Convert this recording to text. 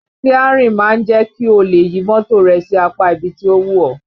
Síárìn máa ń jẹ́ kí o lè yí mọ́tò rẹ sí apá ibi tí ó wù ọ́